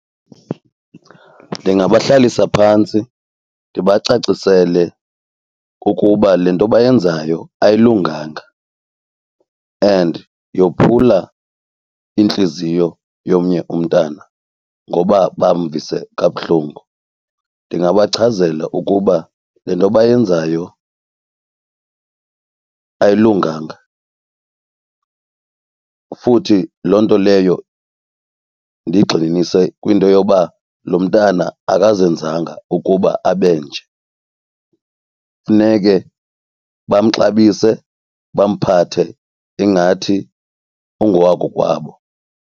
Ndingabahlalisa phantsi ndibacacisele ukuba le nto bayenzayo ayilunganga and yophula intliziyo yomnye umntana ngoba bamvise kabuhlungu. Ndingabachazela ukuba le nto bayenzayo ayilunganga futhi loo nto leyo ndiyigxininise kwinto yoba lo mntana akazenzanga ukuba abe nje, funeke bamxabise bamphathe ingathi ungowakokwabo.